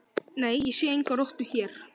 Nei, ég sé enga rottu hér